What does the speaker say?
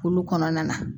Kulu kɔnɔna na